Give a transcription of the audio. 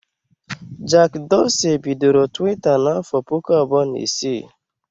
Jack Dorsey bidoro Twitter n'afọ puku abụọ na isii